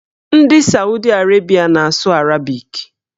Ndị Saudi Arabịa na-asụ arabik